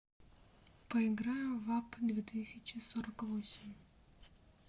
поиграем в апп две тысячи сорок восемь